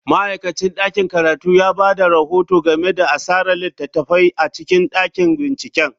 Ma'aikacin ɗakin karatu ya ba da rahoto game da asarar littattafai a cikin ɗakin binciken.